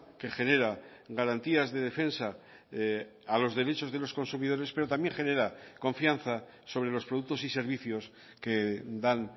que genera garantías de defensa a los derechos de los consumidores pero también genera confianza sobre los productos y servicios que dan